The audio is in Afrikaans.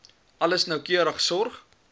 alles noukeurig sorg